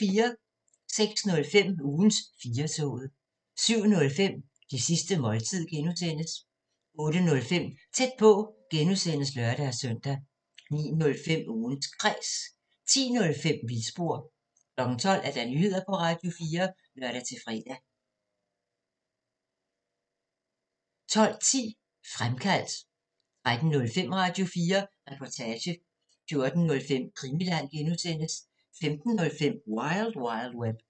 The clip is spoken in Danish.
06:05: Ugens 4-toget 07:05: Det sidste måltid (G) 08:05: Tæt på (G) (lør-søn) 09:05: Ugens Kræs 10:05: Vildspor 12:00: Nyheder på Radio4 (lør-fre) 12:10: Fremkaldt 13:05: Radio4 Reportage 14:05: Krimiland (G) 15:05: Wild Wild Web